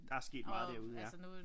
Der er sket meget derude ja